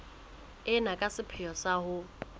ena ka sepheo sa ho